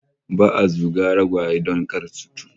Ba'a zuga ragwage don kar su cutu